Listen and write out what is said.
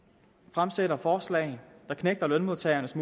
fremsætter forslag der knægter lønmodtagernes